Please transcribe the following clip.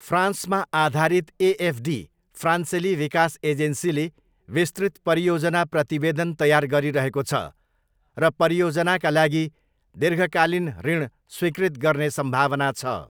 फ्रान्समा आधारित एएफडी, फ्रान्सेली विकास एजेन्सीले विस्तृत परियोजना प्रतिवेदन तयार गरिरहेको छ र परियोजनाका लागि दीर्घकालीन ऋण स्वीकृत गर्ने सम्भावना छ।